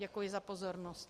Děkuji za pozornost.